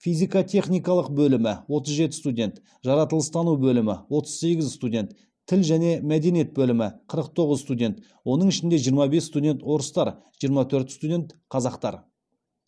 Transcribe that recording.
физикотехникалық бөлімі отыз жеті студент жаратылыс тану бөлімі отыз сегіз студент тіл және мәдениет бөлімі қырық тоғыз студент оның ішінде жиырма бес студент орыстар жиырма төрт студент қазақтар